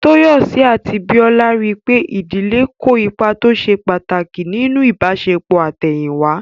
Tóyọ̀sí àti Bíọ́lá rí pé ìdílé kó ipa tó ṣe pàtàkì nínú ìbáṣepọ̀ àtẹ̀yìn wá